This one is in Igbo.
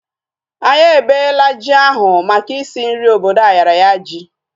Anyị ebela ji ahu maka isi nri obodo ayaraya ji